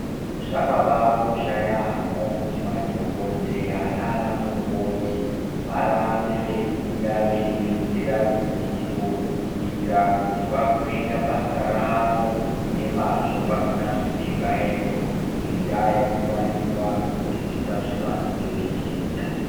Zvakabakosha yaamho kuti madhokodheya naana mukoti varambe veifunda veiwedzera ruzivo kuitira kuti vazoita basa ravo nemazvo pasina zvipingaidzo ngenda yekuti vanenga vakuzwisisa zvavonga veiita.